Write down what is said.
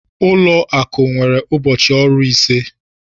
Ụlọ akụ nwere ụbọchị ọrụ ise.